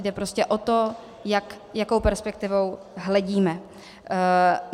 Jde prostě o to, jakou perspektivou hledíme.